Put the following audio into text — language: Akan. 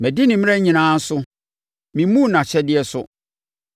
Madi ne mmara nyinaa so: memmuu nʼahyɛdeɛ so.